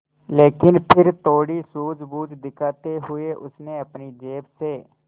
लेकिन फिर थोड़ी सूझबूझ दिखाते हुए उसने अपनी जेब से